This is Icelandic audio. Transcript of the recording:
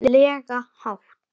lega hátt.